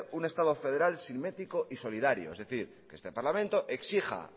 un estado federal simétrico y solidario es decir que este parlamento exija